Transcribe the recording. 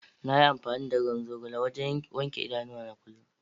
Na yi amfani da ruwan zogale wajen wanke idanuwana kullum.